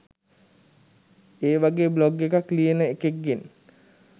ඒවගේ බ්ලොග් එකක් ලියන එකෙක් ගෙන්